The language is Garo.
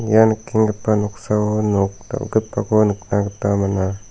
ia nikenggipa noksao nok dal·gipako nikna gita man·a.